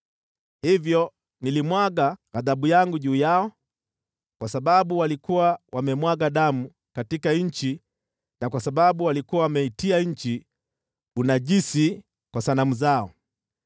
Hivyo nilimwaga ghadhabu yangu juu yao kwa sababu walikuwa wamemwaga damu katika nchi na kwa sababu walikuwa wameitia nchi unajisi kwa sanamu zao.